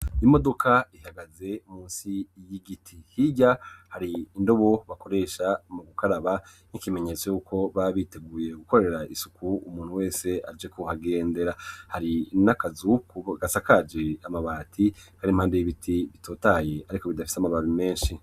Imodoka ihagaze musi y'igiti hirya hari indobo bakoresha mu gukaraba nk'ikimenyetso yuko babiteguye gukorera isuku umuntu wese aje kuhagendera hari n'akazuku gasakaje amabati barimpamdu y'ibiti bitotaye, ariko bidafise amababi menshi.